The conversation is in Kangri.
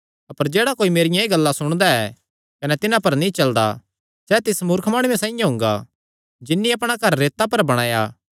अपर जेह्ड़ा कोई मेरियां एह़ गल्लां सुणदा ऐ कने तिन्हां पर नीं चलदा सैह़ तिस मूर्ख माणुये साइआं हुंगा जिन्नी अपणा घर रेता पर बणाया